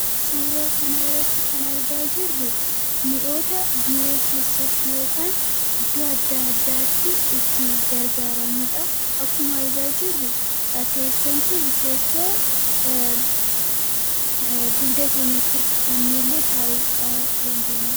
Suuraa kana irratti kan argaa jirru, mi'oota biroo keessatti yookiin iddoo adda addaatti itti gargaaramudhaAakkuma argaa jirru, teessoon kun teessoo dugda keenyatti irkifanneellee taa'uudhaa dandeenyudha.